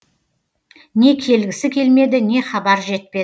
не келгісі келмеді не хабар жетпеді